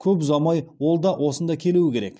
көп ұзамай ол да осында келуі керек